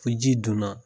Fo ji donna